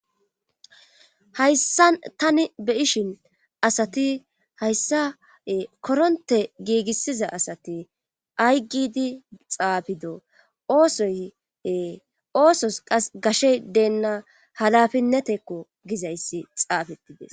Hayssa tani be ishin asati hayssae koronte giigissiza asati ay gidi xaafido oosoye oosos qas gashey deenna halafinnetekko gizayssi xaafettides